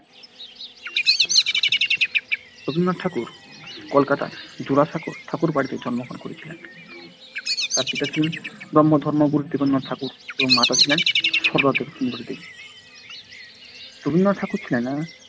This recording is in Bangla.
রবীন্দ্রনাথ ঠাকুর কলকাতার জোড়াসাঁকো ঠাকুরবাড়িতে জন্মগ্রহণ করেছিলেন। তার পিতা ছিলেন ব্রাহ্ম ধর্মগুরু দেবেন্দ্রনাথ ঠাকুর এবং মাতা ছিলেন সারদাসুন্দরী দেবী রবীন্দ্রনাথ ঠাকুর ছিলেন